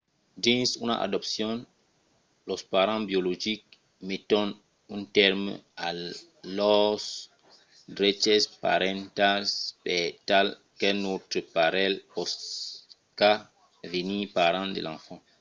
dins una adopcion los parents biologics meton un tèrme a lors dreches parentals per tal qu'un autre parelh pòsca venir parents de l'enfant